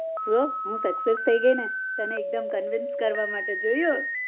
જો હું sucess થઇ ગઈ ને તને એકદમ convince કરવા માટે જોયું